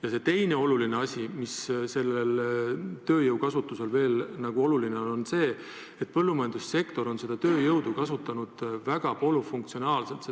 Ja teine asi, mis on tööjõukasutuse puhul oluline, on see, et põllumajandussektor on seda tööjõudu kasutanud väga polüfunktsionaalselt.